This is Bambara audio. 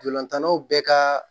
Dolantannw bɛɛ ka